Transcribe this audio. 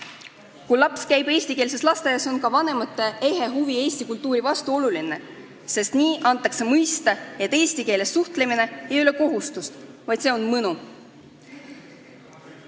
Kui laps käib eestikeelses lasteaias, on oluline ka vanemate ehe huvi eesti kultuuri vastu, sest nii antakse mõista, et eesti keeles suhtlemine ei ole kohustus, vaid see on mõnu.